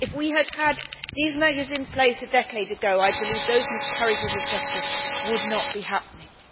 If we had these measures in place a decade ago, I believe those miscarriages of justice would not be happening.